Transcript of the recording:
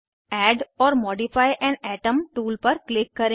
add or modify an atom tool पर click करें